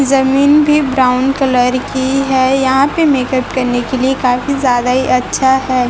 जमीन भी brown colour की हैं यहाॅं पे मेकअप करने की लिए काफ़ी ज्यादाही अच्छा हैं।